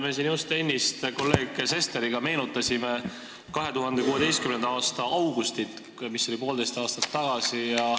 Me siin just ennist kolleeg Sesteriga meenutasime 2016. aasta augustit, mis oli poolteist aastat tagasi.